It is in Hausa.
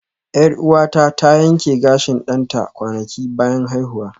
Yar'uwata ta yanke gashin ɗanta kwanaki bayan haihuwa